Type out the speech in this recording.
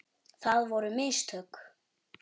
Það voru mistök.